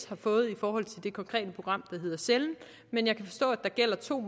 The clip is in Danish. har fået i forhold til det konkrete program der hedder cellen men jeg kan forstå at der gælder to